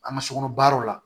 An ka so kɔnɔ baaraw la